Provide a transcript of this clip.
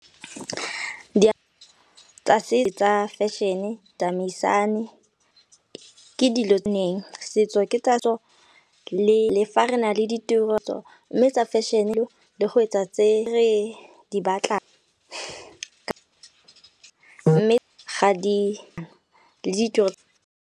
Tsa fashion-e tamaisane ke dilo neng setso ke tatso le fa re na le di tiro mme tsa fashion le go etsa tse re di batlang mme ga di .